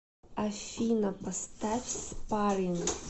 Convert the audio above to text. афина поставь спарринг